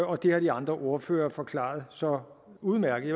og det har de andre ordførere forklaret så udmærket